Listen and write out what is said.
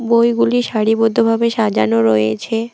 বইগুলি সারিবদ্ধ ভাবে সাজানো রয়েছে।